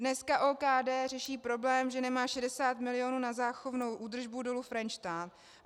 Dneska OKD řeší problém, že nemá 60 mil. na záchovnou údržbu Dolu Frenštát.